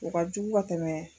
O ka jugu ka tɛmɛ.